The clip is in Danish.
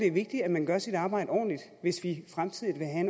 er vigtigt at man gør sit arbejde ordentligt hvis vi fremtidig vil have